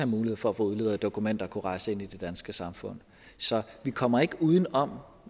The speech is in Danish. mulighed for at få udleveret dokumenter og kunne rejse ind i det danske samfund så vi kommer ikke uden om